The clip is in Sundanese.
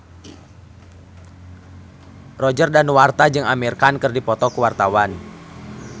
Roger Danuarta jeung Amir Khan keur dipoto ku wartawan